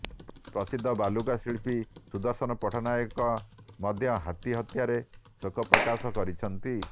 ପ୍ରସିଦ୍ଧ ବାଲୁକା ଶିଳ୍ପୀ ସୁଦର୍ଶନ ପଟ୍ଟନାୟକ ମଧ୍ୟ ହାତୀ ହତ୍ୟାରେ ଶୋକ ପ୍ରକାଶ କରିଛନ୍ତି